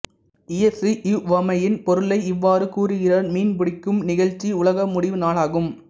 இயேசு இவ்வுவமையின் பொருளை இவ்வாறு கூறுகிறார் மீன் பிடிக்கும் நிகழ்ச்சி உலக முடிவு நாளாகும்